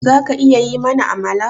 Zaka iya yi mana Amala?